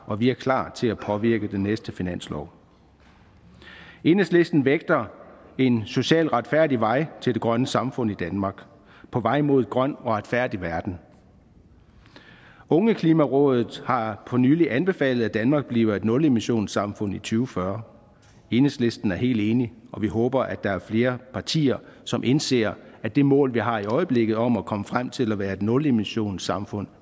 og vi er klar til at påvirke den næste finanslov enhedslisten vægter en socialt retfærdig vej til det grønne samfund i danmark på vej mod en grøn og retfærdig verden ungeklimarådet har for nylig anbefalet at danmark bliver et nulemissionssamfund i to fyrre enhedslisten er helt enig og vi håber at der er flere partier som indser at det mål vi har i øjeblikket om først at komme frem til at være et nulemissionssamfund